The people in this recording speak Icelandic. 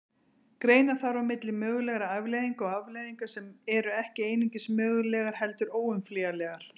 Greina þarf á milli mögulegra afleiðinga og afleiðinga sem eru ekki einungis mögulegar heldur óumflýjanlegar.